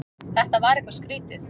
Þetta var eitthvað skrýtið.